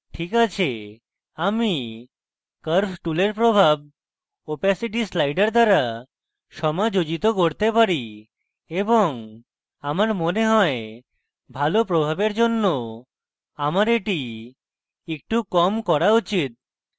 ok আছে আমি curves টুলের প্রভাব opacity slider দ্বারা সমাযোজিত করতে পারি এবং আমার মনে হয় ভালো প্রভাবের জন্য আমার এটি একটু কম করা উচিত